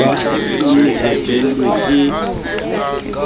o ne a jelwe ke